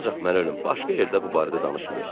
Ancaq mən ölüm, başqa yerdə bu barədə danışmayın.